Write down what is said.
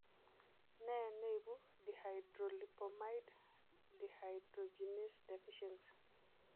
Nee neibu dihydrolipoamide dehydrogenase deficiency?